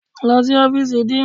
Lọ sí ọ́fíìsì Dean!